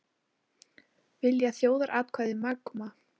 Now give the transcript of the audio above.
Vilja þjóðaratkvæði um Magma